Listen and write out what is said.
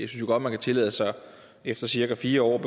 jo godt man kan tillade sig efter cirka fire år